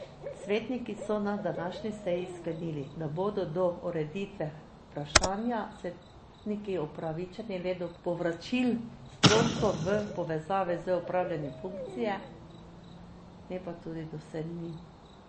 Svetniki so na današnji seji sklenili, da bodo do ureditve vprašanja svetniki upravičeni le do povračil stroškov v povezavi z opravljanjem funkcije, ne pa tudi do sejnin.